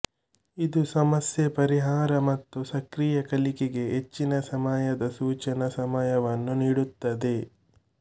ಇದು ಸಮಸ್ಯೆ ಪರಿಹಾರ ಮತ್ತು ಸಕ್ರಿಯ ಕಲಿಕೆಗೆ ಹೆಚ್ಚಿನ ಸಮಯದ ಸೂಚನಾ ಸಮಯವನ್ನು ನೀಡುತ್ತದೆ